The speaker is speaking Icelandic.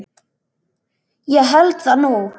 Ég held það nú!